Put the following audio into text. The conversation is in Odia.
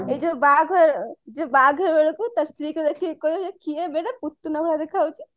ଏଇ ଯୋଉ ବାହାଘର ବାହାଘର ବେଳକୁ ତା ସ୍ତ୍ରୀ କୁ ଦେଖିକି କହିବ କିଏବେ ଏଟା ପୁତନା ଭଳିଆ ଦେଖା ଯାଉଛି